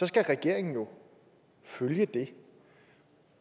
skal regeringen jo følge det